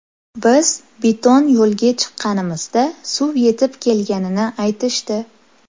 Biz beton yo‘lga chiqqanimizda suv yetib kelganini aytishdi.